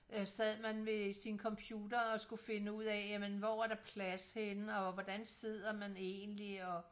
Øh sad man ved sin computer og skulle finde ud af jamen hvor er der plads henne og hvordan sidder man egentlig og